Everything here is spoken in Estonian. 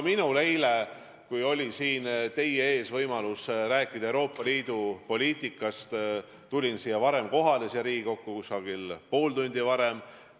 Eile, kui mul oli võimalik siin teie ees rääkida Euroopa Liidu poliitikast, ma tulin siia Riigikokku umbes poolt tundi varem kohale.